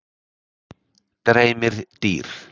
Dreymir dýr?